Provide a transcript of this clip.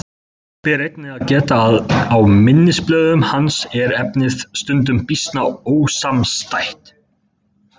Þess ber einnig að geta að á minnisblöðum hans er efnið stundum býsna ósamstætt.